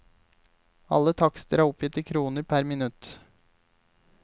Alle takster oppgitt i kroner per minutt.